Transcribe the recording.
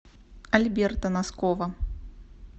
альберта носкова